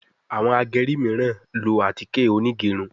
Àwọn ageri miran ló atike Onigerun